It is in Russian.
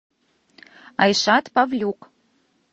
айшат павлюк